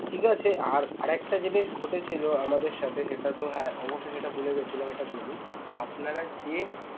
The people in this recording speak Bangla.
ঠিক আছে আর~আর একটা জিনিস ঘটেছে যা আমাদের সাথে সেটাতেো হ্যাঁ অবশ্য সেটা ভুলে গেছিলাম এটা বলি আপনারা যে